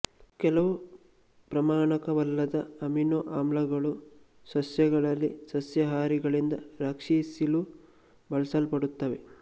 ಕೆಲವು ಪ್ರಮಾಣಕವಲ್ಲದ ಅಮಿನೊ ಆಮ್ಲಗಳು ಸಸ್ಯಗಳಲ್ಲಿ ಸಸ್ಯಹಾರಿಗಳಿಂದ ರಕ್ಷಿಸಿಲು ಬಳಸಲ್ಪಡುತ್ತವೆ